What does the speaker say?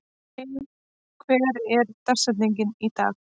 Maj, hver er dagsetningin í dag?